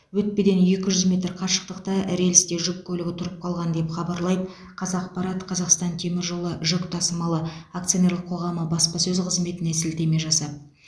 өтпеден екі жүз метр қашықтықта рельсте жүк көлігі тұрып қалған деп хабарлайды қазақпарат қазақстан темір жолы жүк тасымалы акционерлік қоғамы баспасөз қызметіне сілтеме жасап